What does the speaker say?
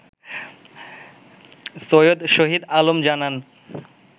সৈয়দ শহীদ আলম জানান